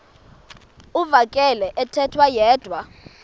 uvakele ethetha yedwa